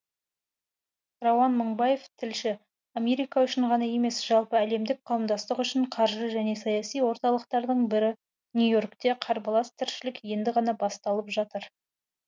рауан мыңбаев тілші америка үшін ғана емес жалпы әлемдік қауымдастық үшін қаржы және саяси орталықтардың бірі нью и оркте қарбалас тіршілік енді ғана басталып жатыр